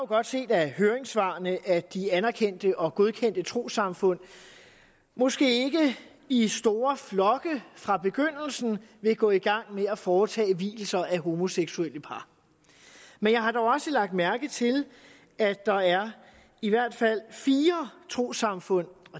godt set af høringssvarene at de anerkendte og godkendte trossamfund måske ikke i store flokke fra begyndelsen vil gå i gang med at foretage vielser af homoseksuelle par men jeg har dog også lagt mærke til at der i hvert fald er fire trossamfund